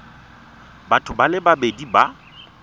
batho ba le babedi ba